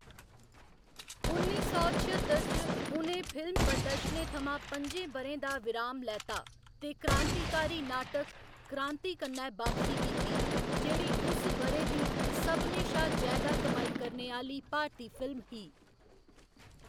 उन्नी सौ छअत्तर च, उ'नें फिल्म प्रदर्शनें थमां पं'जें ब'रें दा विराम लैता ते क्रांतिकारी नाटक 'क्रांति' कन्नै बापसी कीती, जेह्‌‌ड़ी उस ब'रे दी सभनें शा जैदा कमाई करने आह्‌ली भारती फिल्म ही।